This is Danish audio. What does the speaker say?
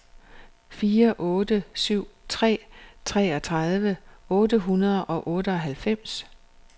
fire otte syv tre treogtredive otte hundrede og otteoghalvfems